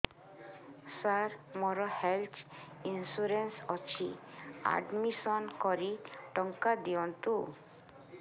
ସାର ମୋର health insurance ଅଛି admission କରି ଟଙ୍କା ଦିଅନ୍ତୁ